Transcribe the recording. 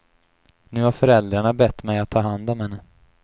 Nu har föräldrarna bett mig att ta hand om henne.